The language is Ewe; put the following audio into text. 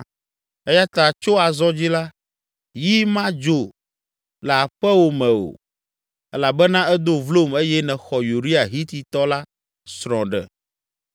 Eya ta tso azɔ dzi la, yi madzo le aƒewò me o, elabena edo vlom eye nèxɔ Uria Hititɔ la srɔ̃ ɖe.’